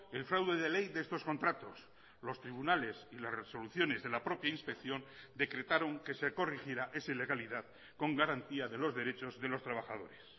el fraude de ley de estos contratos los tribunales y las resoluciones de la propia inspección decretaron que se corrigiera esa ilegalidad con garantía de los derechos de los trabajadores